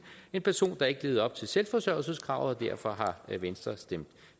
en person der ikke levede op til selvforsørgelseskravet og derfor har venstre stemt